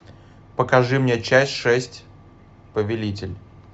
покажи мне часть шесть повелитель